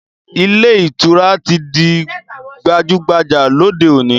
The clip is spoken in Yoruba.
Ilé ìtura ti di gbajúgbajà lóde òní